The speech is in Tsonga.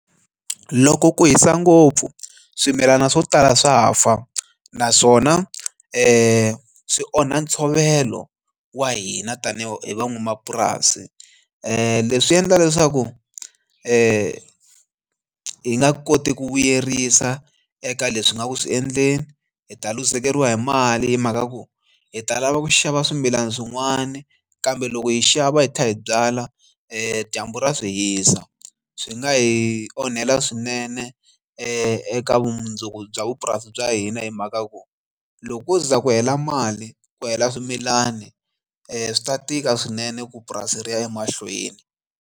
Loko ku hisa ngopfu swimilana swo tala swa fa naswona swi swi onha ntshovelo wa hina tanihi van'wamapurasi leswi endla leswaku ni hi nga koti ku vuyerisa eka leswi nga ku swi endleni hi ta luzekeriwa hi mali hi mhaka ya ku hi ta lava ku xava swimilana swin'wani kambe loko hi xava hi tlhela hi byala dyambu ra swi hisa swi nga hi onhela swinene eka vumundzuku bya vupurasi bya hina hi mhaka ku loko ko ze ku hela mali ku hela swimilani swi ta tika swinene ku purasi ri ya emahlweni.